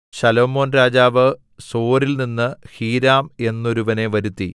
ശലോമോൻ രാജാവ് സോരിൽനിന്ന് ഹീരാം എന്നൊരുവനെ വരുത്തി